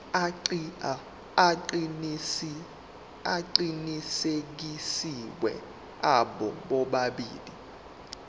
aqinisekisiwe abo bobabili